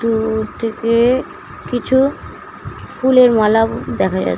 কিছু ফুলের মালা দেখা যাচ্ছে ।